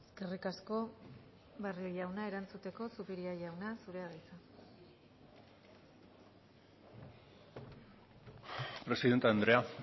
eskerrik asko barrio jauna erantzuteko zupiria jauna zurea da hitza presidente andrea